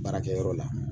Baarakɛyɔrɔ la